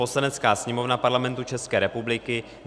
"Poslanecká sněmovna Parlamentu České republiky